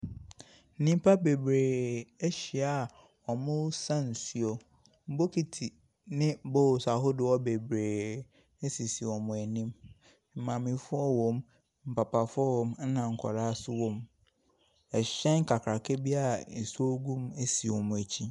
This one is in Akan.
Nnipa bebree ahyia a wɔresa nsuo. Bokiti ne bowls ahodoɔ bebree sisi wɔn anim. Maamefoɔ wɔ mu, papafoɔ wɔ mu, ɛna nkwadaa nso wɔ mu. Ɛhyɛn kakraka bi a nsuo gu mu si wɔn akyi.